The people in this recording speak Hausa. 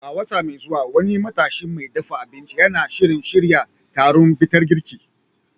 A wata mai zuwa, wani matashin mai dafa abinci yana shirin shirya taron bitar girki.